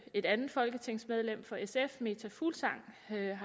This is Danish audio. et andet folketingsmedlem for sf fru meta fuglsang